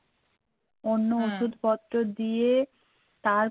ওষুধপত্র দিয়ে তারপরে